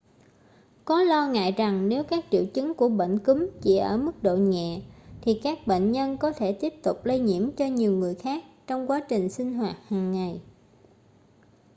có lo ngại rằng nếu các triệu chứng của bệnh cúm chỉ ở mức độ nhẹ thì các bệnh nhân có thể tiếp tục lây nhiễm cho nhiều người khác trong quá trình sinh hoạt hàng ngày